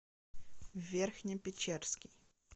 верхне печерский